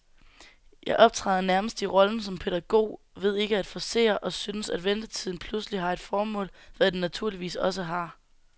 Jeg optræder nærmest i rollen som pædagog ved ikke at forcere, og synes, at ventetiden pludselig har et formål, hvad den naturligvis også har.